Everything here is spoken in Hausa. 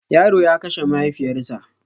Yaro ya kashe mahaifiyar sa